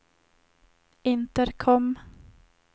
intercom